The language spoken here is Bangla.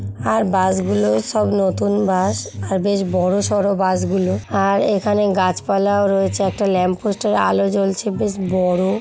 আর বাস গুলোও সব নতুন বাস আর বেশ বড়ো সরো বাস গুলো। আর এখানে গাছ পালাও রয়েছে একটা ল্যাম্প পোস্ট -এর আলো জ্বলছে বেশ বড়ো ।